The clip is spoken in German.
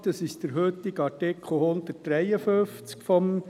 Dies entspricht dem heutigen Artikel 153 PRG.